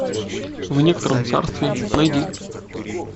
в некотором царстве найди